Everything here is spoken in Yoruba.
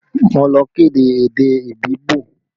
Mo lọ kọ́ èdè Ibibio